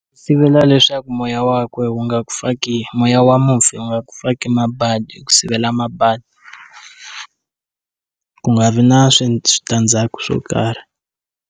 Sivela leswaku moya wa kwe wu nga ku faki moya wa mufi wu nga ku faki mabadi hi ku sivela mabadi ku nga vi na switandzhaku swo karhi.